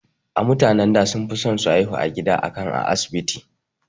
A mutanen da sunfison su haihu a gida akan a asibiti